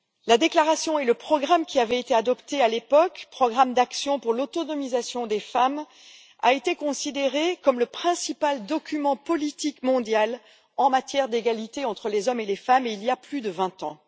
La déclaration et le programme qui avaient été adoptés à l'époque programme d'action pour l'autonomisation des femmes ont été considérés comme étant le principal document politique mondial en matière d'égalité entre les hommes et les femmes, il y a plus de 20 ans.